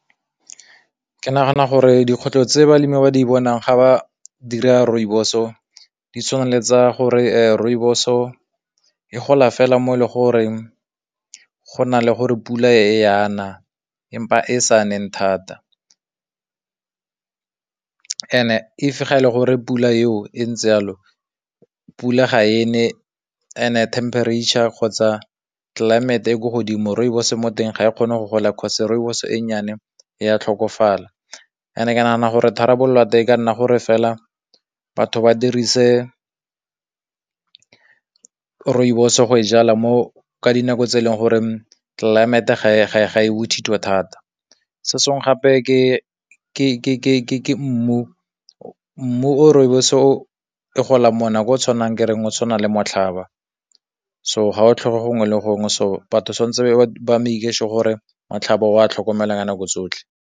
ke nagana gore dikgwetlho tse balemi ba di bonang ga ba dira rooibos-o, di tshwana eletsa gore rooibos-o e gola fela mo le gore go na le gore pula e yana empa e sa ne thata, ga e le gore pula eo e ntse yalo pula ga e ne temperature kgotsa climate e ko godimo, rooibos mo teng ga e kgone go gola cause rooibos e nnyane ya tlhokofala, e ne ke nagana gore tharabololo ya teng e ka nna gore fela batho ba dirise rooibos go e jalwa mo ka dinako tse e leng gore tlelaemete ga e ga e ga e bothito thata se sengwe gape ke ke mmu o mmu o rooibos o e golang monna o o tshwanang ke reng go tshwana le motlhaba so ga o tlhoke gongwe le gongwe so batho santse batshamiki se gore motlhaba o a tlhokomelang ka nako tsotlhe.